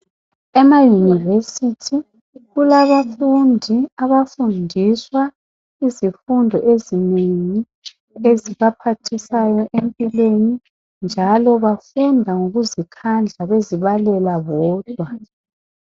Ema "University" kulabafundi abafundiswa izifundo ezinengi ezibaphathisayo empilweni njalo bafunda ngokuzikhandla bezibalela bodwa.